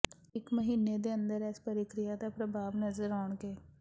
ਇਕ ਮਹੀਨੇ ਦੇ ਅੰਦਰ ਇਸ ਪ੍ਰਕਿਰਿਆ ਦਾ ਪ੍ਰਭਾਵ ਨਜ਼ਰ ਆਉਣਗੇ